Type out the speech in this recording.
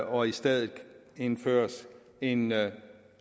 og i stedet indføres en